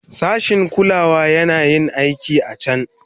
Sashin kulawa yana yin aikin a can.